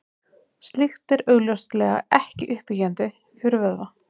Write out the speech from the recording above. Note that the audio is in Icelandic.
Slíkt er augljóslega ekki uppbyggjandi fyrir vöðva.